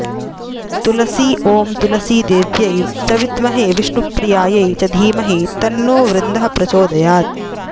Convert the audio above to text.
तुलसी ॐ तुलसीदेव्यै च विद्महे विष्णुप्रियायै च धीमहि तन्नो बृन्दः प्रचोदयात्